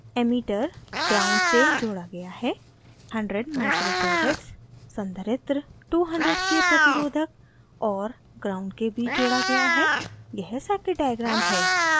emitter gnd ground से जोड़ा गया है